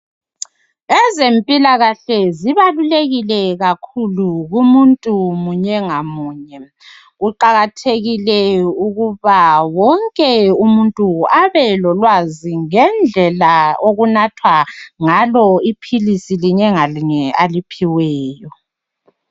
Ezempilakahle zibalulekile kakhulu kumuntu munye ngamuye. Kuqakathekile ukuba wonke umuntu abelolwazi ngendlela okunathwa ngalo iphilisi linye ngalinye aliphiweyo